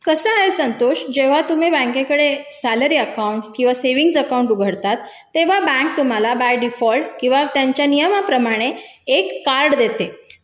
कसा आहे संतोष जेव्हा तुम्ही बँकेकडे सॅलरी अकाउंट किंवा अकाउंट उघडतात तेव्हा बँक तुम्हाला बाय डिफॉल्ट त्या नियमाप्रमाणे एक कार्ड देते